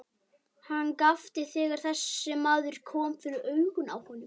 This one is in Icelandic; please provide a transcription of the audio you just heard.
Hann gapti þegar þessi maður kom fyrir augun á honum.